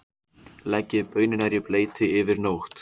Leggið baunirnar í bleyti yfir nótt.